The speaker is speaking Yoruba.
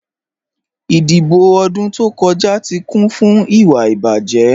Idíbò̀ odún tó kọja tí kún fún ìwà ìbájẹ́.